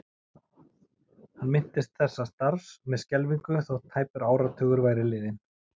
Hann minntist þessa starfs með skelfingu þótt tæpur áratugur væri liðinn.